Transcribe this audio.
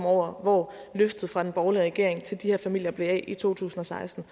over hvor løftet fra den borgerlige regering til de her familier blev af i to tusind og seksten